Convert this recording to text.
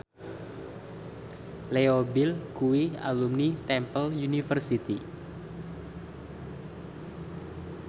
Leo Bill kuwi alumni Temple University